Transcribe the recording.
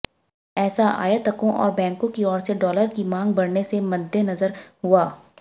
ऐसा आयातकों और बैंकों की ओर से डॉलर की मांग बढ़ने से मद्देनजर हुआ